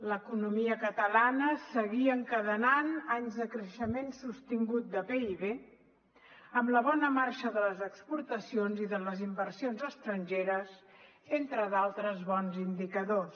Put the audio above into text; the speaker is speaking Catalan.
l’economia catalana seguia encadenant anys de creixement sostingut del pib amb la bona marxa de les exportacions i de les inversions estrangeres entre d’altres bons indicadors